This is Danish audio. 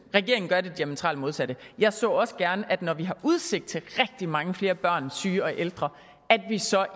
regeringen gør det diametralt modsatte jeg så også gerne at vi når vi har udsigt til rigtig mange flere børn syge og ældre